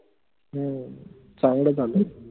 हम्म चांगलं झालं